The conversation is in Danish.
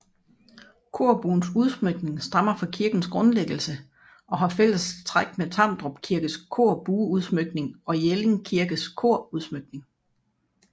Korbuens udsmykning stammer fra kirkens grundlæggelse og har fælles træk med Tamdrup Kirkes korbueudsmykning og Jelling Kirkes korudsmykning